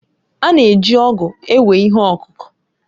A na-eji ọ̀gu ewe ihe ọkụkụ